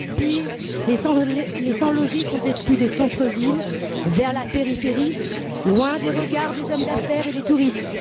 Pire, les sans logis sont exclus des centres villes vers la périphérie, loin des regards des hommes d'affaires et des touristes.